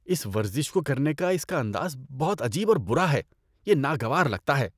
اس ورزش کو کرنے کا اس کا انداز بہت عجیب اور برا ہے، یہ ناگوار لگتا ہے۔